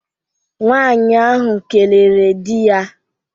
Nwaanyi ahụ kelere di ya